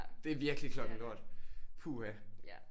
Det er virkelig klokken lort puha